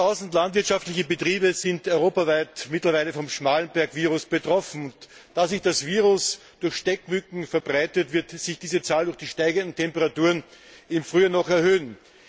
Über tausend landwirtschaftliche Betriebe sind mittlerweile europaweit vom Schmallenberg Virus betroffen, und da sich das Virus durch Stechmücken verbreitet, wird sich diese Zahl durch die steigenden Temperaturen im Frühjahr noch erhöhen.